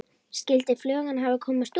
Skyldi flugan hafa komist út?